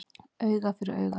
Auga fyrir auga